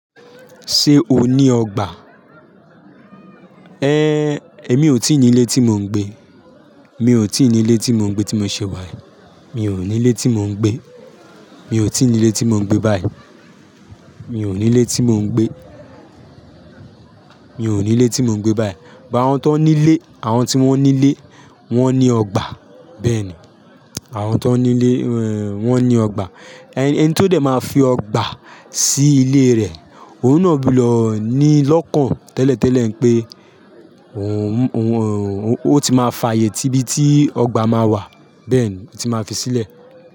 Ṣé o ní ọgbà? Éh, èmi ò tí ì ní ilé tí mò ń gbé. Mi ò tí ì ní ilé tí mò ń gbé tí mo ṣe wá. Mi ò ní ilé tí mò ń gbé. Mi ò tí ì ní ilé tí mò ń gbé báyìí. Mi ò ní ilé tí mò ń gbé. Mi ò ní ilé tí mò ń gbé báyìí. But àwọn tan ní ilé, àwọn tí wọ́n ní ilé, wọ́n ní ọgbà. Bẹ́ẹ̀ ni, àwọn tán ní ilé, wọ́n ní ọgbà. Ẹni tó dẹ̀ máa fi ọgbà sí ilé rẹ̀, òun náà ó bí lọ ní lọ́kàn tẹ́lẹ̀tẹ́lẹ̀ pé òun, òun, òun ti máa fààyè tíbi tí ọgbà máa wà. Bẹ́ẹ̀ ni, ó ti máa fi sílẹ̀